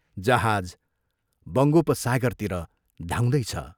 जहाज बङ्गोपसागरतिर धाउँदैछ।